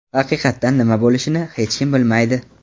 Haqiqatda nima bo‘lishini hech kim bilmaydi.